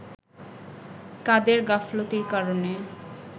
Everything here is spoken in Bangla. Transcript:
কাদের গাফিলতির কারণে